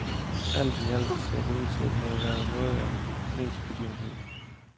Alt i alt så det ud til at have været noget af en mediebegivenhed.